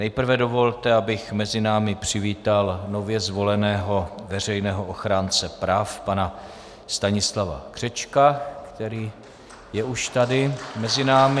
Nejprve dovolte, abych mezi námi přivítal nově zvoleného veřejného ochránce práv pana Stanislava Křečka, který je už tady mezi námi.